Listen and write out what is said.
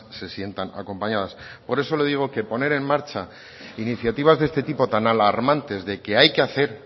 se sientan acompañadas por eso le digo que poner en marcha iniciativas de este tipo tan alarmantes de que hay que hacer